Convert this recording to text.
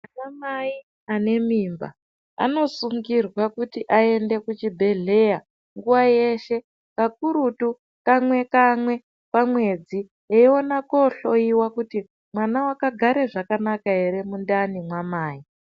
Anamai anemimba anosungirwa kuti aende kuchibhehleya nguwa yeshe kakurutu kamwe kamwe pamwedzi eiona kohloyiwa kutimwana wakagara zvakanaka ere mundani mwamai.